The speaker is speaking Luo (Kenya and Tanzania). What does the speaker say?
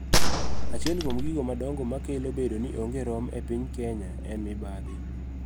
Achiel kuom gigo madongo makelo bedo ni onge rom e piny Kenya en mibadhi.